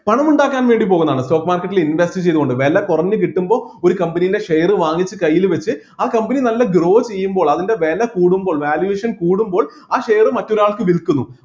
പണം ഉണ്ടാക്കാൻ വേണ്ടി പോകുന്നതാണ് stock market ൽ invest ചെയ്‌തുകൊണ്ട്‌ വില കുറഞ്ഞ് കിട്ടുമ്പോ ഒരു company ന്റെ share വാങ്ങിച്ച് കയ്യിൽവെച്ച് ആ company നല്ല grow ചെയ്യുമ്പോ അതിൻ്റെ വില കൂടുമ്പോൾ valuation കൂടുമ്പോൾ ആ share മറ്റൊരാൾക്ക് വിൽക്കുന്നു